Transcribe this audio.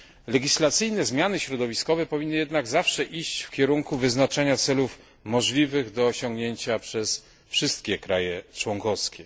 Legislacyjne zmiany środowiskowe powinny jednak zawsze iść w kierunku wyznaczania celów możliwych do osiągnięcia przez wszystkie kraje członkowskie.